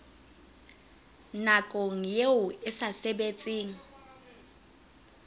nakong eo e sa sebetseng